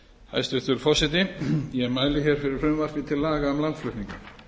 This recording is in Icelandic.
hæstvirtur forseti ég mæli hér fyrir frumvarpi til laga um landflutninga